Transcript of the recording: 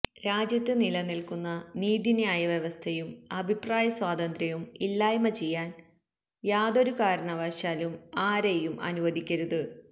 രാജ്യത്ത് നിലനിൽക്കുന്ന നീതിന്യായ വ്യവസ്ഥയും അഭിപ്രായ സ്വാതന്ത്ര്യവും ഇല്ലായ്മ ചെയ്യാൻ യാതൊരു കാരണവശാലും ആരേയും അനുവദിക്കരുത്